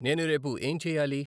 నేను రేపు ఏం చేయాలి?